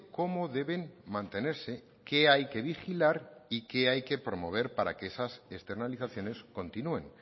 cómo deben mantenerse qué hay que vigilar y qué hay que promover para que esas externalizaciones continúen